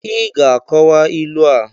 Ị ga-akowa ilu a!